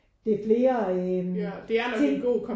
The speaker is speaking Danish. Det er flere øh ting